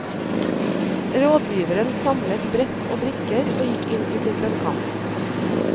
Rådgiveren samlet sammen brett og brikker og gikk inn i sitt lønnkammer.